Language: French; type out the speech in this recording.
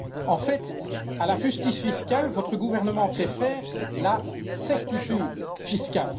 En fait, à la justice fiscale, votre gouvernement préfère la certitude fiscale.